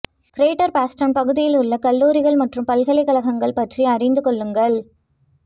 greater Boston பகுதியில் உள்ள கல்லூரிகள் மற்றும் பல்கலைக்கழகங்கள் பற்றி அறிந்து கொள்ளுங்கள்